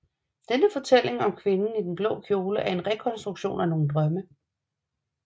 Denne fortælling om kvinden i den blå kjole er en rekonstruktion af nogle drømme